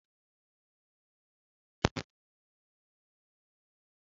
Noddles abụghị kábohaidret